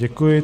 Děkuji.